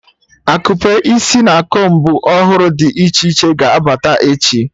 Akupe isi na combu ọhụrụ dị iche iche ga-abata echi